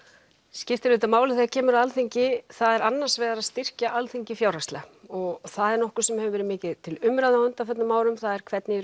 skiptir máli þegar kemur að Alþingi er annars vegar að styrkja Alþingi fjárhagslega og það er nokkuð sem hefur verið mikið til umræðu á undanförnum árum það er hvernig